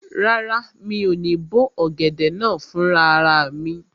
Rárá, mi ò ní bó ọ̀gẹ̀dẹ̀ náà fún rara mi